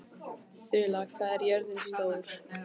Þula, hvað er jörðin stór?